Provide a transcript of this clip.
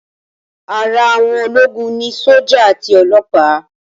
Ara àwọn ológun ni sójà àti ọlọ́pa